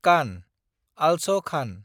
कान (आलस खान)